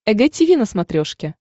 эг тиви на смотрешке